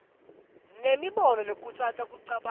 nemibono lekhutsata kucabanga